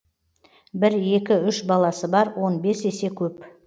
бір екі үш баласы бар он бес есе көп